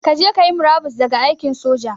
Kaje kayi murabus daga aikin soja